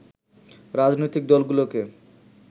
রাজনৈতিক দলগুলোকে